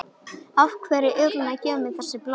Af hverju er hún að gefa mér þessi blóm?